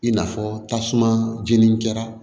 I n'a fɔ tasuma jeni jara